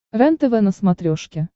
рентв на смотрешке